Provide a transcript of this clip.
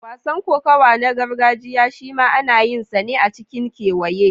Wasan kokawa na gargajiya shima ana yinsa ne a cikin kewaye.